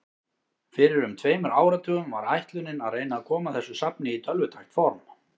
Fyrir um tveimur áratugum var ætlunin að reyna að koma þessu safni í tölvutækt form.